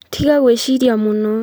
Tiga gwĩciria mũno